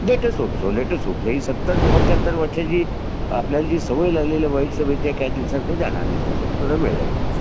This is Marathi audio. late us hope so let us hope so हे सत्तर पंचाहत्तर वर्षाची वाईट सवयी काही दिवसात काही जाणार नाही त्यासाठी थोडा वेळ लागेल